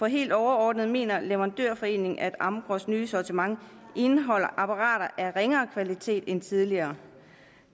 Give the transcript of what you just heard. helt overordnet mener leverandørforeningen at amgros nye sortiment indeholder apparater af ringere kvalitet end tidligere